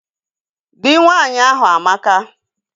Dị nwaanyị ahụ amaka